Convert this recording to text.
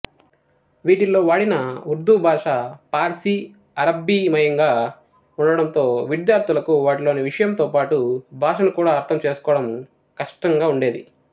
వీటిల్లో వాడిన ఉర్దూ భాష పార్శీ అరబ్బీమయంగా ఉండడంతో విద్యార్థులకు వాటిలోని విషయంతోపాటు భాషను కూడా అర్థంచేసుకోవటం కష్టంగా ఉండేది